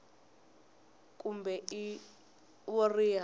h kumbe i wo riha